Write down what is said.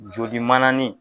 Joli mananin.